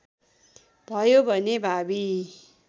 भयो भने भावी